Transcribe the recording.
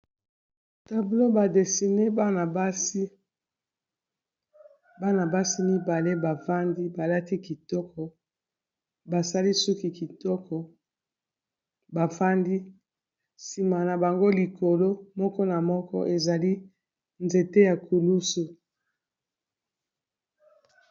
Tablo ba desine bana basi mibale bafandi balati kitoko basali suki kitoko bafandi nsima na bango likolo moko na moko ezali nzete ya kulusu.